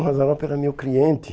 O Mazzaropi era meu cliente.